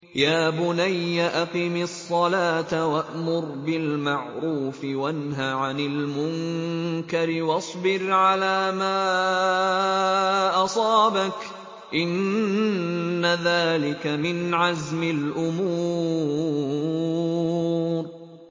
يَا بُنَيَّ أَقِمِ الصَّلَاةَ وَأْمُرْ بِالْمَعْرُوفِ وَانْهَ عَنِ الْمُنكَرِ وَاصْبِرْ عَلَىٰ مَا أَصَابَكَ ۖ إِنَّ ذَٰلِكَ مِنْ عَزْمِ الْأُمُورِ